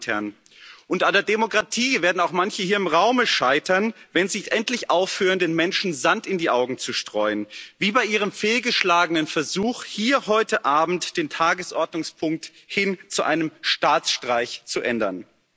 Und an der Demokratie werden auch manche hier im Raume scheitern, wenn sie nicht endlich aufhören, den Menschen Sand in die Augen zu streuen wie bei Ihrem fehlgeschlagenen Versuch, hier heute Abend den Tagesordnungspunkt hin zu einem Staatsstreich zu ändern.